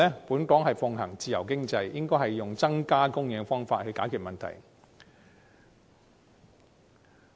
本港奉行自由經濟，應以增加供應來解決問題。